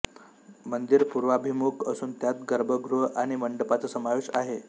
मंदिर पूर्वाभिमुख असून त्यात गर्भगृह आणि मंडपाचा समावेश आहे